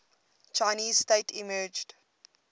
chinese state emerged